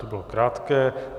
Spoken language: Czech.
To bylo krátké.